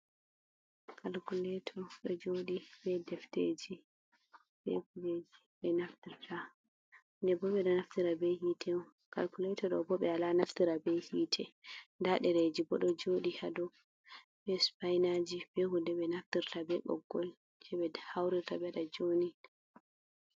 Kalkuleto ɗo jooɗi be defteji, be kujeji ɓe naftrta ndenbo ɓe ɗo naftira be hite. Kalkulato ɗo bo ɓe wala naftira be hite. Nnda ɗereji bo ɗo jooɗi ha dow be supainaji be hunde ɓe naftirta be ɓoggol je ɓe hauruta ɓe waɗa jooni.